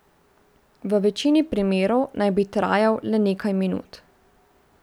V večini primerov naj bi trajal le nekaj minut.